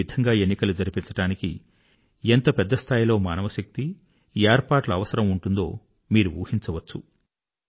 ఈ విధంగా ఎన్నికలు జరిపించడానికి ఎంత పెద్ద స్థాయిలో మానవశక్తి ఏర్పాట్ల అవసరం ఉంటుందో మీరు ఊహించవచ్చు